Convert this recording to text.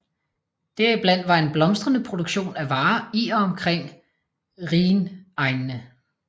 Deriblandt var en blomstrende produktion af varer i og omkring rhinegnene